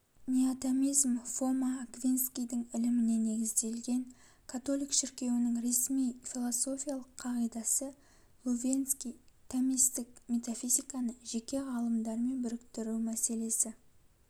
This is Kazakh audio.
неотомизм фома аквинскийдің іліміне негізделген католик шіркеуінің ресми философиялық қағидасы лувенский-томистік-метафизиканы жеке ғалымдармен біріктіру мәселесі